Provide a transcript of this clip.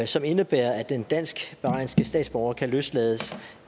som indebærer at den dansk bahrainske statsborger kan løslades